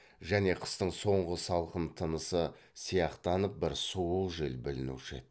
және қыстың соңғы салқын тынысы сияқтанып бір суық жел білінуші еді